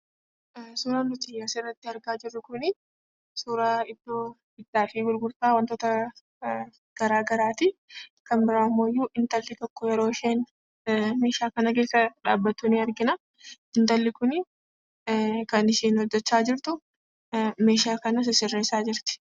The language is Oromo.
Suuraan nuti asirratti argaa jirru kun, suuraa iddoo bittaa fi gurgurtaa garaagaraati. kan bira ammahoo intalli tokko meeshaa kana keessa dhabbattu ni argina. intalli kun kan isheen hojjecha jirtu meeshaa kana sisireessa jirti.